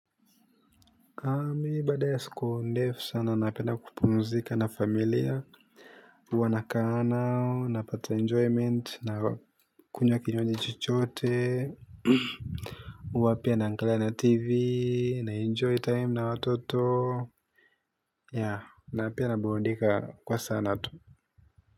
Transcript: Nami baada ya siku ndefu sana napenda kupumzika na familia. Huwa nakaa nao, napata enjoyment, nakunywa kinywaji chochote. Huwa pia na angalia na tv na enjoy time na watoto na pia na burudika kwa sana tu.